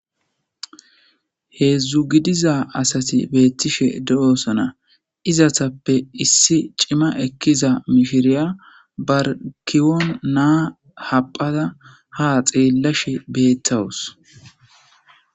Heedzdzu gidiza asati beettishe de'osona izatappe issi cima ekkiza mifiriya barkiwon naa haphada ha xeellashe beettawus